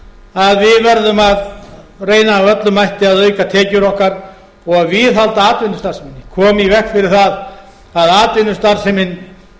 að við verðum að reyna af öllum mætti að auka tekjur okkar og viðhalda atvinnustarfseminni koma í veg fyrir það að atvinnustarfsemin